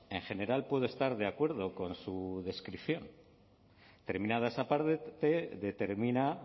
en general puedo estar de acuerdo con su descripción terminada esa parte determina